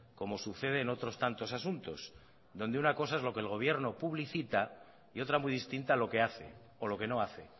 como sucede en otros tantos asuntos donde una cosa es lo que el gobierno publicita y otra muy distinta lo que hace o lo que no hace